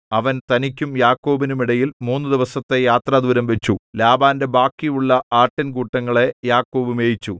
അവൻ തനിക്കും യാക്കോബിനും ഇടയിൽ മൂന്നു ദിവസത്തെ യാത്രാദൂരം വച്ചു ലാബാന്റെ ബാക്കിയുള്ള ആട്ടിൻകൂട്ടങ്ങളെ യാക്കോബ് മേയിച്ചു